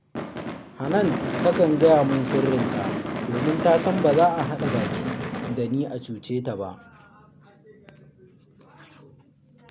Hanan takan gaya min sirrinta, Saboda ta san ba za a haɗa baki da ni a cuce ta ba